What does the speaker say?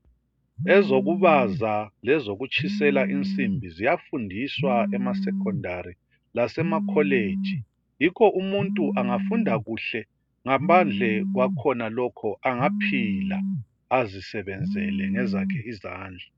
Ezokubaza lezokutshisela insimbi kuyafundiswa emasekhondari lasemakholeji yikho umuntu angafunda kuhle ngaphandle kwakhonalokhu angaphila azisebenzele ngezakhe izandla.